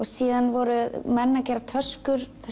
síðan voru menn að gera töskur